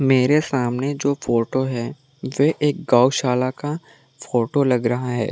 मेरे सामने जो फोटो है वह एक गौशाला का फोटो लग रहा है।